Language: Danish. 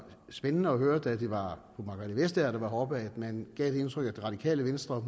spændende at høre da det var fru margrethe vestager der var heroppe at man gav det indtryk at det radikale venstre